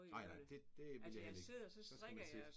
Nej nej det det ville jeg heller ikke så skal man sidde